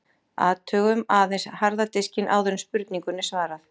Athugum aðeins harða diska áður en spurningunni er svarað.